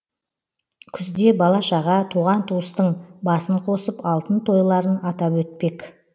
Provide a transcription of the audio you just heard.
күзде бала шаға туған туыстың басын қосып алтын тойларын атап өтпек